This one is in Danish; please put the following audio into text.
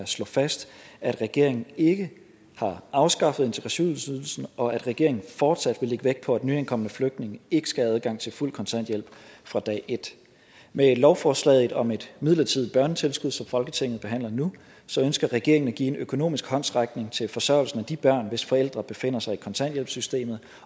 slå fast at regeringen ikke har afskaffet integrationsydelsen og at regeringen fortsat vil lægge vægt på at nyankomne flygtninge ikke skal have adgang til fuld kontanthjælp fra dag et med lovforslaget om et midlertidigt børnetilskud som folketinget behandler nu ønsker regeringen at give en økonomisk håndsrækning til forsørgelsen af de børn hvis forældre befinder sig i kontanthjælpssystemet